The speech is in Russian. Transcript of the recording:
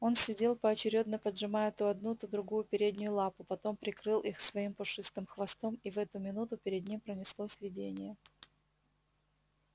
он сидел поочерёдно поджимая то одну то другую переднюю лапу потом прикрыл их своим пушистым хвостом и в эту минуту перед ним пронеслось видение